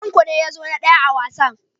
Tanko ne ya zo na daya a wasan.